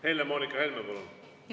Helle-Moonika Helme, palun!